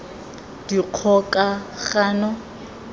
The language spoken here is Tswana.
dikgokagano